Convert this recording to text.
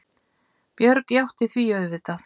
Björg játti því auðvitað.